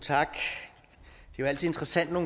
tak det er altid interessant når